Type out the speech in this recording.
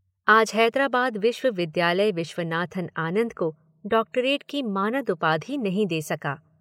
आज हैदराबाद विश्वविद्यालय विश्वनाथ आनंद को डॉक्टरेट की मानद उपाधि नहीं दे सका।